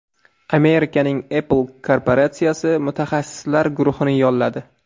Amerikaning Apple korporatsiyasi mutaxassislar guruhini yolladi.